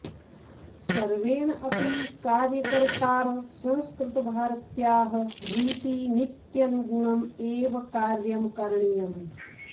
सर्वेण अपि कार्यकर्त्रा संस्कृतभारत्याः रीतिनीत्यनुगुणम् एव कार्यं करणीयम्